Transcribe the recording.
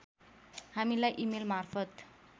हामीलाई इमेल मार्फत